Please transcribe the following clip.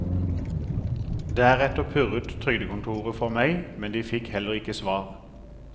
Deretter purret trygdekontoret for meg, men de fikk heller ikke svar.